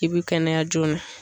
I bi kɛnɛya joona.